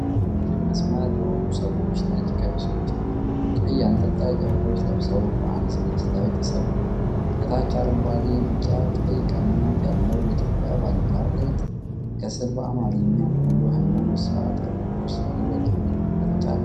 ረዥም መስመር የሆኑ ሰዎች ነጭ ቀሚሶችና ቀይ አንጠልጣይ ጨርቆች ለብሰው በአንድ ዝግጅት ላይ ተሰልፈዋል። ከታች አረንጓዴ፣ ቢጫና ቀይ ቀለማት ያለው የኢትዮጵያ ባንዲራ ተነጥፏል። ከስር በአማርኛ "ኩሉ ሃይማኖታዊ ስርአት በቅዱስ ላሊበላ" የሚል መግለጫ አለ።